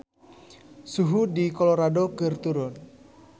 Suhu di Colorado keur turun